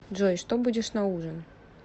джой что будешь на ужин